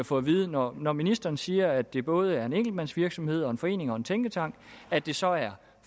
få at vide når når ministeren siger at det både er en enkeltmandsvirksomhed og en forening og en tænketank at det så er